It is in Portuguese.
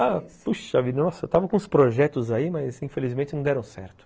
Ah, puxa vida, nossa, eu estava com uns projetos aí, mas, infelizmente, não deram certo.